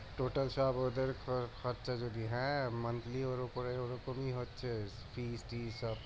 সব ওদের খর খরচা যদি হ্যাঁ ওর উপরে ওরকমই হচ্ছে সব